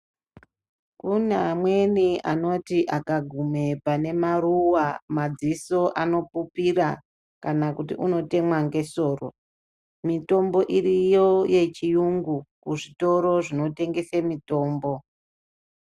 Kune amweni anoti akagume pane maruwa, madziso anopupira, kana kuti unotemwa ngesoro. Mitombo iriyo yechiyungu, kuzvitoro zvinotengese mitombo.